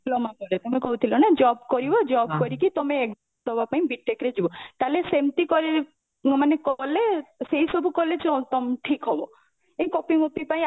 diploma ପରେ ତମେ କହୁଥିଲ ନା job କରିବ job କରିକି ତମେ ଦବା ପାଇଁ B.TECH ରେ ଯିବ ତାହେଲେ ସେମତି କ ମାନେ କଲେ ସେଇ ସବୁ କଲେ ଠିକ ହବ ଏଇ copy ମପି ପାଇଁ